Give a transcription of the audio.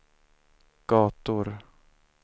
gator